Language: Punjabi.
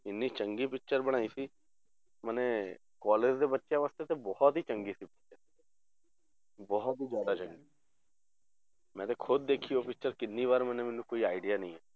ਇੰਨੀ ਚੰਗੀ picture ਬਣਾਈ ਸੀ ਮਨੇ college ਦੇ ਬੱਚਿਆਂ ਵਾਸਤੇ ਤਾਂ ਬਹੁਤ ਹੀ ਚੰਗੀ ਸੀ picture ਬਹੁਤ ਹੀ ਜ਼ਿਆਦਾ ਚੰਗੀ ਮੈਂ ਤੇ ਖੁੱਦ ਦੇਖੀ ਉਹ picture ਕਿੰਨੀ ਵਾਰ ਮਨੇ ਮੈਨੂੰ ਕੋਈ idea ਨਹੀਂ।